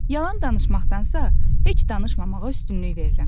Yalan danışmaqdansa, heç danışmamağa üstünlük verirəm.